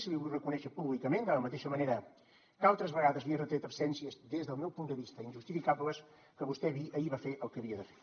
i l’hi vull reconèixer públicament de la mateixa manera que altres vegades li he retret absències des del meu punt de vista injustificables que vostè ahir va fer el que havia de fer